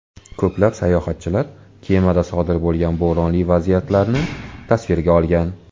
Ko‘plab sayohatchilar kemada sodir bo‘lgan bo‘ronli vaziyatlarni tasvirga olgan.